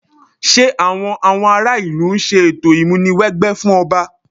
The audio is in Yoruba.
Ṣé àwọn àwọn ará ìlú ń ṣe ètò ìmúni wẹgbẹ́ fún ọba?